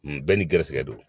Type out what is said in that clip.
Bɛɛ ni garisɛgɛ don